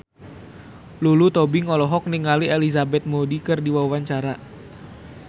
Lulu Tobing olohok ningali Elizabeth Moody keur diwawancara